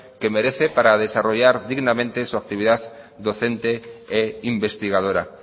que merece para desarrollar dignamente su actividad docente e investigadora